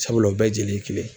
Sabula o bɛɛ jeli ye kelen.